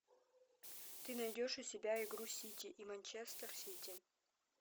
ты найдешь у себя игру сити и манчестер сити